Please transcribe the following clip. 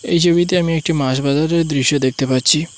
এই ছবিতে আমি একটি মাছ বাজারের দৃশ্য দেখতে পাচ্ছি।